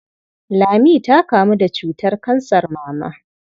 Lami ta kamu da cutar kansar mama.